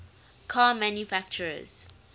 car manufacturers